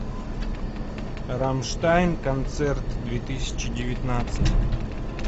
рамштайн концерт две тысячи девятнадцать